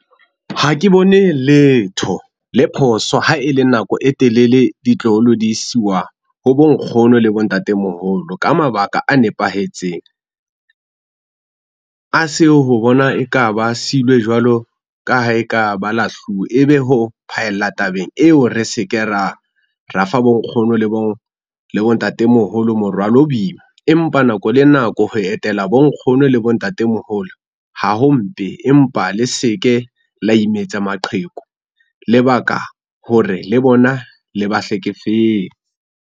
Ha ke bone letho le phoso ha e le nako e telele ditloholo di isuwa ho bo nkgono le bo ntatemoholo ka mabaka a nepahetseng. A se ho bona e ka ba silwe jwalo ka ha e ka ba lahluwe e be ho phaella tabeng eo re se ke ra, ra fa bo nkgono le bo le bo ntatemoholo morwalo o boima. Empa nako le nako ho etela bo nkgono le bo ntatemoholo ha ho mpe empa le se ke la imetsa maqheku, lebaka hore le bona le ba hlekefetse.